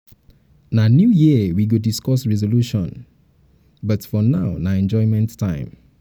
na new year we go um discuss resolution but um for now na enjoyment time.